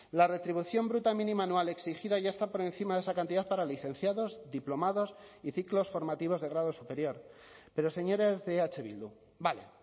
la retribución bruta mínima anual exigida ya está por encima de esa cantidad para licenciados diplomados y ciclos formativos de grado superior pero señores de eh bildu vale